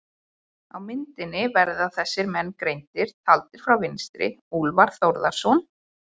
Á myndinni verða þessir menn greindir, taldir frá vinstri: Úlfar Þórðarson